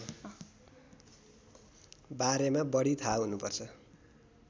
बारेमा बढी थाहा हुनुपर्छ